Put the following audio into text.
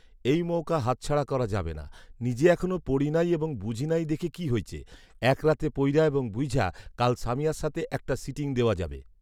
এই মওকা হাতছাড়া করা যাবে না। নিজে এখনও পড়ি নাই এবং বুঝি নাই দেখে কি হইছে। এক রাতে পইর‌্যা এবং বুইঝ্যা কাল সামিয়ার সাথে একটা সিটিং দেওয়া যাবে